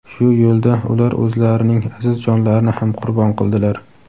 Shu yo‘lda ular o‘zlarining aziz jonlarini ham qurbon qildilar.